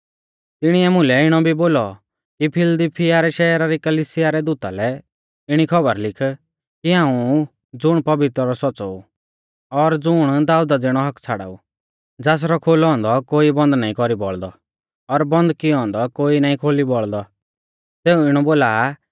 तिणीऐ मुलै इणौ भी बोलौ कि फिलदिलफिया शैहरा री कलिसिया रै दूता लै इणी खौबर लिख कि हाऊं ऊ ज़ुण पवित्र और सौच़्च़ौ ऊ और ज़ुण दाऊदा ज़िणौ हक्क छ़ाड़ाऊ ज़ासरौ खोलौ औन्दौ कोई बन्द नाईं कौरी बौल़दौ और बन्द कियौ औन्दौ कोई नाईं खोली बौल़दौ सेऊ इणौ बोला आ कि